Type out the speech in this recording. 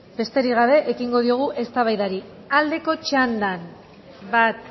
besterik gabe ekingo diogu eztabaidari aldeko txandan bat